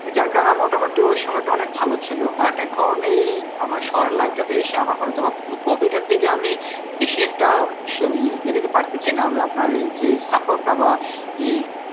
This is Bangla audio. যার কারণে মোটামুটি ওই সময়টা অনেক ভালো ছিল but এখন এই আমার শহরের life টাতে এসে আমার হয় তো বা hobby টার দিকে আমি বেশি একটা উহ ইয়ে দিতে পারতিছিনা আমি আপনার এই যে support টা বা এই